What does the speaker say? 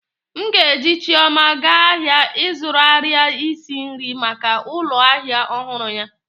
M ga-eji chioma gaa ahịa ịzụrụ arịa isi nri maka ụlọ ahịa ọhụrụ ya